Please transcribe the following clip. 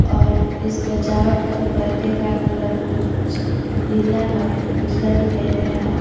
और इस सजावट का पर्दे का कलर कुछ नीला और उजाला दिखाई दे रहा है।